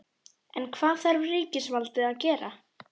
En hvað þarf ríkisvaldið að gera?